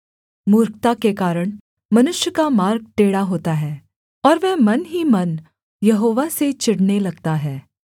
मूर्खता के कारण मनुष्य का मार्ग टेढ़ा होता है और वह मन ही मन यहोवा से चिढ़ने लगता है